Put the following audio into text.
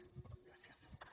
gràcies